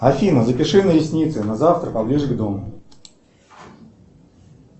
афина запиши на ресницы на завтра поближе к дому